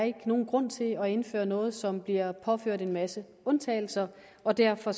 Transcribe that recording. ikke nogen grund til at indføre noget som bliver påført en masse undtagelser og derfor